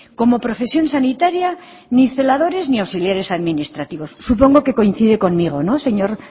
como profesión sanitaria ni celadores ni auxiliares administrativos supongo que coincide conmigo señor